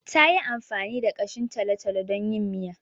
Ta yi amfani da ƙashin talo-talo don yin miya.